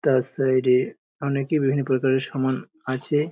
তার সাইড এ অনেকই বিভিন্ন প্রকারের সমান আছে।